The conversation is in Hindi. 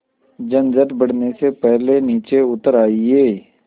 झंझट बढ़ने से पहले नीचे उतर आइए